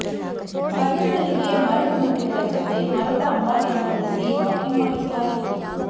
ಅರ್ಜುನನಿಗೆ ಮರಳು ಮೂಟೆಗಳ ಜತೆ ಮರದ ಅಂಬಾರಿಯನ್ನು ಹೊರಿಸಿ ವಾಕಿಂಗ್ ಮಾಡಿಸಲಾಗಿತ್ತು